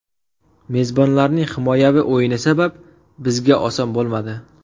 Mezbonlarning himoyaviy o‘yini sabab, bizga oson bo‘lmadi.